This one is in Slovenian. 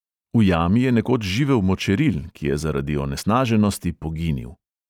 V jami je nekoč živel močeril, ki je zaradi onesnaženosti poginil.